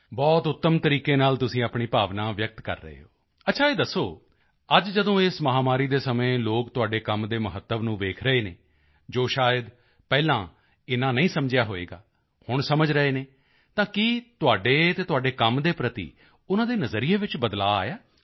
ਬਹੁਤ ਉੱਤਮ ਤਰੀਕੇ ਨਾਲ ਤੁਸੀਂ ਆਪਣੀ ਭਾਵਨਾ ਵਿਅਕਤ ਕਰ ਰਹੇ ਹੋ ਅੱਛਾ ਇਹ ਦੱਸੋ ਅੱਜ ਜਦੋਂ ਇਸ ਮਹਾਮਾਰੀ ਦੇ ਸਮੇਂ ਲੋਕ ਤੁਹਾਡੇ ਕੰਮ ਦੇ ਮਹੱਤਵ ਨੂੰ ਵੇਖ ਰਹੇ ਹਨ ਜੋ ਸ਼ਾਇਦ ਪਹਿਲਾਂ ਇੰਨਾ ਨਹੀਂ ਸਮਝਿਆ ਹੋਵੇਗਾ ਹੁਣ ਸਮਝ ਰਹੇ ਹਨ ਤਾਂ ਕੀ ਤੁਹਾਡੇ ਅਤੇ ਤੁਹਾਡੇ ਕੰਮ ਦੇ ਪ੍ਰਤੀ ਉਨ੍ਹਾਂ ਦੇ ਨਜ਼ਰੀਏ ਵਿੱਚ ਬਦਲਾਓ ਆਇਆ ਹੈ